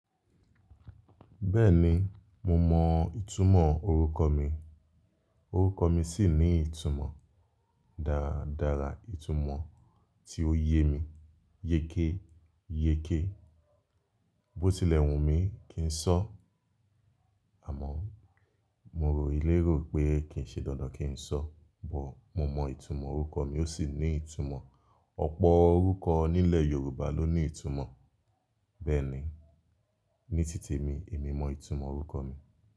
Bẹ́ẹ̀ni, mo mọ ìtumọ̀ orúkọ mi, orúkọ mi sì ní ìtumọ̀ dára dára, ìtumọ̀ tí ó yé mi yéké yéké. Bo tilẹ̀ wù mí kí n sọ́, àmọ́ mo rò lèrò pé kì í ṣe dandan kí n sọ. Bọ̀ mo mọ ìtumọ̀ orúkọ mi ó sì ní ìtumọ̀. Ọ̀pọ̀ orúkọ nílẹ̀ Yorùbá ló ní ìtumọ̀. Bẹ́ẹ̀ni, ní tìte mi èmi mọ ìtumọ̀ orúkọ mi.